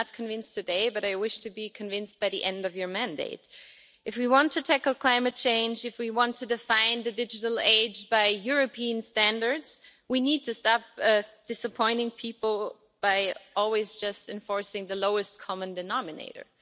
I'm not convinced today, but I wish to be convinced by the end of her mandate. If we want to tackle climate change, if we want to define the digital age by European standards, we need to stop disappointing people by always just enforcing the lowest common denominator.